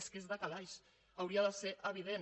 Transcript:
és que és de calaix hauria de ser evident